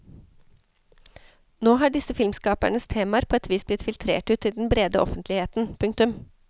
Nå har disse filmskapernes temaer på et vis blitt filtrert ut til den brede offentligheten. punktum